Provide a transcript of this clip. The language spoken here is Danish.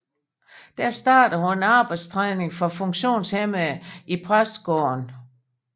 Der startede hun arbejdstræning for funktionshæmmede i præstegården